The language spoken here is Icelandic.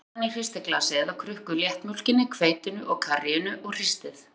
Blandið saman í hristiglasi eða krukku léttmjólkinni, hveitinu og karríinu og hristið.